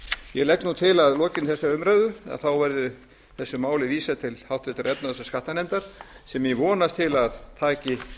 ég legg til að að lokinni þessari umræðu verði þessu máli vísað til háttvirtrar efnahags og skattanefndar sem ég vonast til að taki